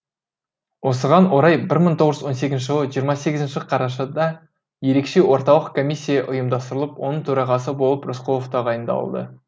осыған орай бір мың тоғыз жүз он сегізінші жылы жиырма сегізінші қарашада ерекше орталық комиссия ұйымдастырылып оның төрағасы болып рысқұлов тағайындалды